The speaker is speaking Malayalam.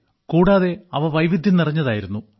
കൂടാതെ അവ വൈവിധ്യം നിറഞ്ഞതായിരുന്നു